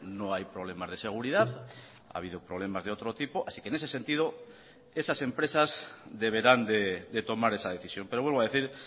no hay problemas de seguridad ha habido problemas de otro tipo así que en ese sentido esas empresas deberán de tomar esa decisión pero vuelvo a decir